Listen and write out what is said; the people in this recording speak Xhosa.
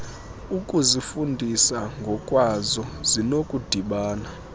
ukuzifundisa ngokwazo zinokudibana